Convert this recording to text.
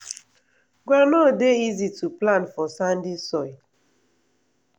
groundnut dey easy to plant for sandy soil.